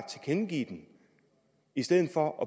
tilkendegive den i stedet for at